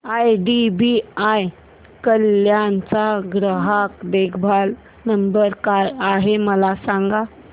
IDBI Kalyan चा ग्राहक देखभाल नंबर काय आहे मला सांगा